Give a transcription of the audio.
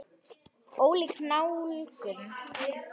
Ólík nálgun.